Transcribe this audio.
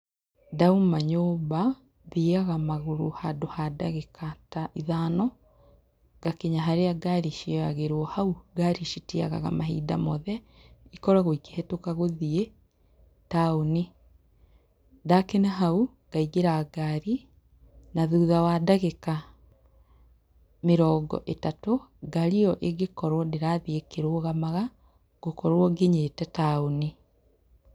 Ndauma nyũmba, thiaga magũrũ handũ ha ndagĩka ta ithano ngakinya harĩa ngari cioyagĩrwo. Hau ngari citiagaga mahinda mothe, ikoragwo ikĩhetũka gũthiĩ taũni. Ndakinya hau ngaingĩra ngari na thutha wa ndagĩka mĩrongo ĩtatũ, ngari ĩo ĩngĩkorwo ndĩrathiĩ ĩkĩrũgamaga ngũkorwo nginyĩte taũni.